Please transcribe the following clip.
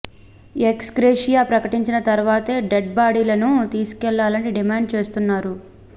X gratia ప్రకటించిన తర్వాతే dead బాడీలను తీసుకెళ్లాలని డిమాండ్ చేస్తున్నారు